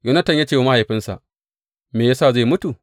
Yonatan ya ce wa mahaifinsa, Me ya sa zai mutu?